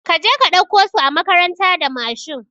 Kaje ka ɗauko su a makaranta da Mashin